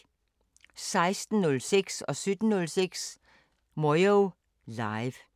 16:06: Moyo Live 17:06: Moyo Live